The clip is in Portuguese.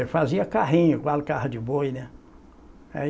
Eu fazia carrinho, igual carro de boi, né? Aí